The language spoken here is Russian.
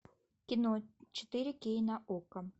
кино четыре кей на окко